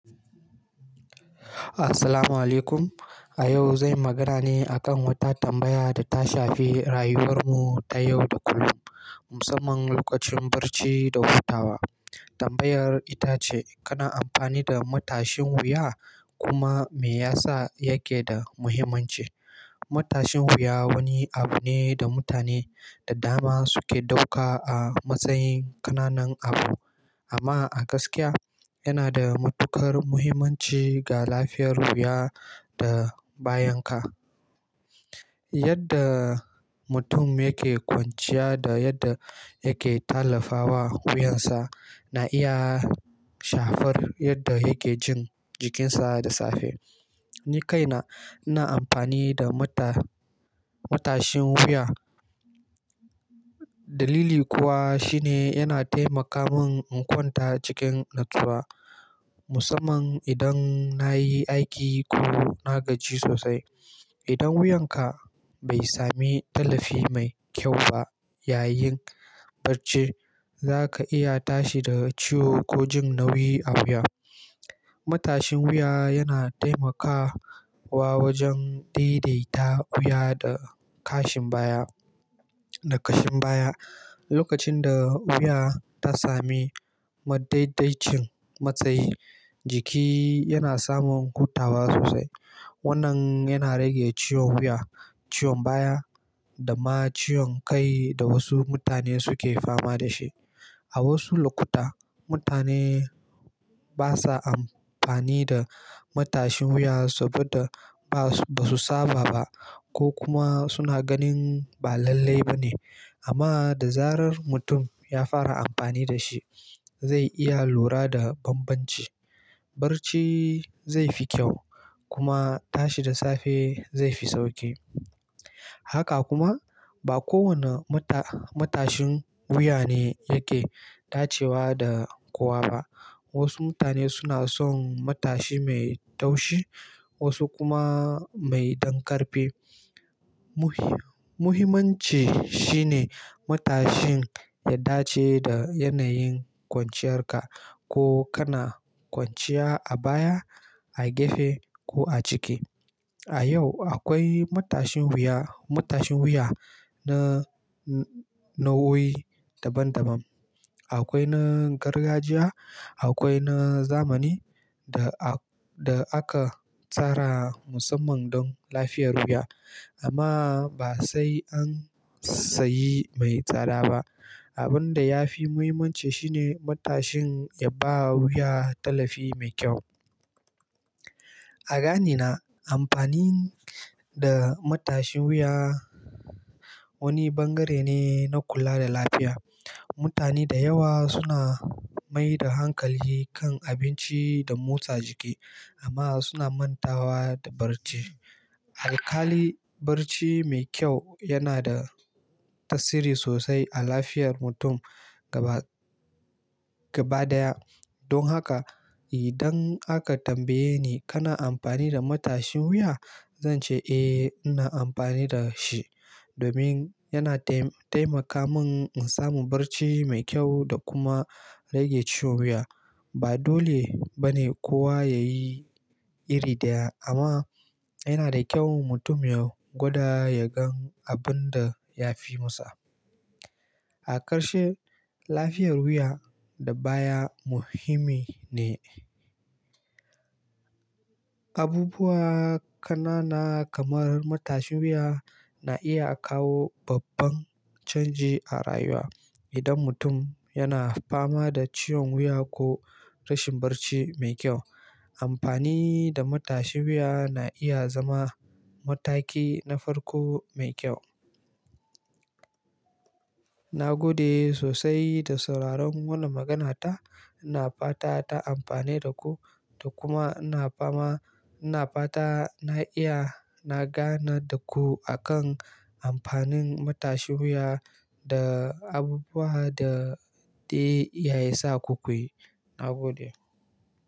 Assalamualaikum. A yau zai magana ne akan wata tambaya da ta shafi rayuwar mu ta yau da kullum, musamman lokacin barci da hutawa. Tambayar ita ce, kana amfani da matashin wuya? Kuma me yasa yake da muhimmanci? Matashin wuya wani abu ne da mutane da dama suke dauka a matsayin ƙananan abu. Amma a gaskiya yana da matuƙar muhimmanci ga lafiyar wuya da bayan ka. Yadda mutum yake kwanciya da yadda yake tallafawa wuyansa na iya shafar yadda yake jin jikinsa da safe. Ni kaina ina amfani da mata- matashin wuya. Dalili kuwa shi ne yana taimaka mun in kwanta cikin natsuwa, musamman idan na yi aiki ko na gaji sosai. Idan wuyanka bai sami tallafi mai kyau ba yayin barci, za ka iya tashi da ciwo ko jin nauyi a wuya. Matashin wuya yana taimaka wa wajen daidaita wuya da kashin baya, da kashin baya. Lokacin da wuya ta sami madaidaicin matsayi, jiki yana samun hutawa sosai. Wannan yana rage ciwon wuya, ciwon baya da ma ciwon kai da wasu mutane suke fama da shi. A wasu lokuta, mutane basa amfani da matashin wuya saboda basu saba ba ko kuma suna ganin ba lallai ba ne. Amma da zarar mutum ya fara amfani da shi, zai iya lura da banbanci. Barci zai fi kyau kuma tashi da safe zai fi sauki. Haka kuma ba kowane mata- matashin wuya ne yake dacewa da kowa ba. Wasu mutane suna son matashi mai taushi, wasu kuma mai dankarfe. Muhi- muhimmanci shi ne matashin ya dace da yanayin kwanciyarka. Ko kana kwanciya a baya, a gefe ko a ciki. A yau akwai matashin wuya, matashin wuya na nau'o'i daban daban. Akwai na gargajiya, akwai na zamani da a- da aka tsara musamman don lafiyar wuya. Amma ba sai an sayi mai tsada ba. Abin da ya fi muhimmanci shi ne matashin ya ba wuya tallafi mai kyau. A ganina amfani da matashin wuya wani bangare ne na kula da lafiya. Mutane da yawa suna mai da hankali kan abinci da motsa jiki amma suna mantawa da barci. Alkal'i barci mai kyau yana da tasiri sosai a lafiyar mutum gaba gaba daya. Don haka idan aka tambaye ni kana amfani da matashin wuya? Zan ce eh ina amfani da shi domin yana taim- taimaka mun in samu barci mai kyau da kuma rage ciwon wuya. Ba dole ba ne kowa ya yi iri daya amma yana da kyau mutum ya gwada ya gan abun da ya fi masa. A ƙarshe, lafiyar wuya da baya muhimmi ne. Abubuwa ƙanana kamar matashin wuya na iya kawo babban canji a rayuwa. Idan mutum yana fama da ciwon wuya ko rashin barci mai kyau, amfani da matashin wuya na iya zama mataki na farko mai kyau. Na gode sosai da sauraron wannan maganata. Na fata ta amfane da ku da kuma na fama-- na fata na iya na gana da ku a kan amfanin matashin wuya da abubuwan da dai ya isa ku kuyi. Na gode.